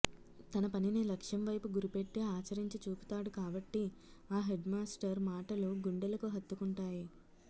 తన పనిని లక్ష్యంవైపు గురిపెట్టి ఆచరించి చూపుతాడు కాబట్టి ఆ హెడ్మాస్టర్ మాటలు గుండెలకు హత్తుకుంటాయి